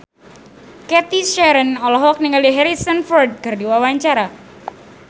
Cathy Sharon olohok ningali Harrison Ford keur diwawancara